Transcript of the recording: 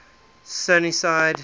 sunnyside